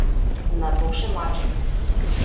Nato še mačehe.